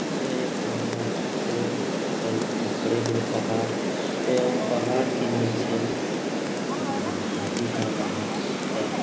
यह एक जंगल है और कल बड़े-बड़े पहाड़ एवं पहाड़ के नीचे न नदी का बहाव है।